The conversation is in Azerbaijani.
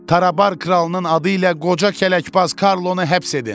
Tarabar kralının adı ilə qoca kələkbaz Karlonu həbs edin!